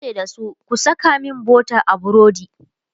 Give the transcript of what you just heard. yace da su "ku Saka min butter a burodi!"